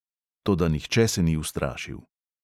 Toda nihče se ni ustrašil.